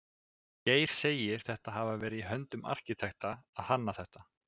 Geir segir þetta hafa verið í höndum arkitekta að hanna þetta.